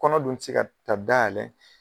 Kɔnɔ dun te se ka taa dayɛlɛ